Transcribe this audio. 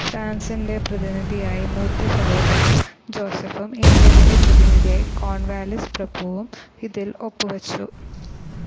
ഫ്രാൻസിൻ്റെ പ്രതിനിധിയായി മൂത്തസഹോദരൻ ജോസഫും ഇംഗ്ലണ്ടിൻ്റെ പ്രതിനിധിയായി കോൺവാലിസ് പ്രഭുവും ഇതിൽ ഒപ്പ് വെച്ചു.